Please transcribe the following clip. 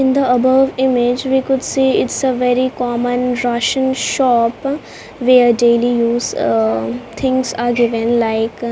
in the above image we could see its a very common ration shop we are daily use ah things are given like --